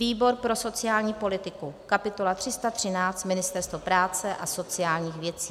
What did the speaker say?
výbor pro sociální politiku kapitola 313 - Ministerstvo práce a sociálních věcí;